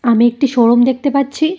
আমি একটি শোরুম দেখতে পাচ্ছি।